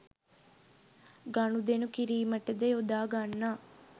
ගණුදෙනු කිරීමට ද යොදාගන්නා